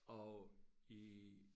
Og i